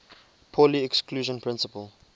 pauli exclusion principle